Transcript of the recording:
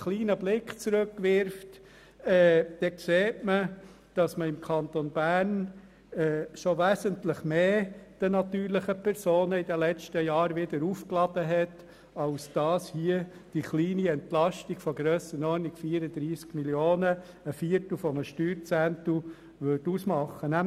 In den letzten Jahren hat man den natürlichen Personen wesentlich mehr aufgebürdet als diese kleine Entlastung von 34 Mio. Franken, was einem Viertel eines Steuerzehntels entspricht.